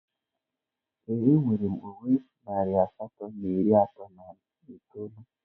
Ee, enwere m uwe na narị asatọ na iri atọ na itoolu